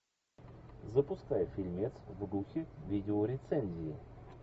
запускай фильмец в духе видеорецензии